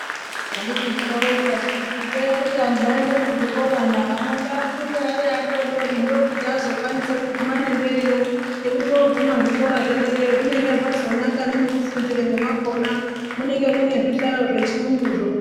Handiti zvinoronzwasu kuti itai kuti antu aende kuzvikorana ana ngaafunde ariadoodori ndokuti azokwanisa kuguma nemberiyo ngekuti oguma zvikora zvederayo zvinenge zvazonaka nemwekufundiremwo mwakona munenge mune zvihlayo zvechiyunguzvo.